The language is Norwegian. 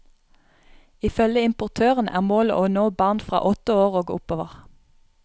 Ifølge importøren er målet å nå barn fra åtte år og oppover.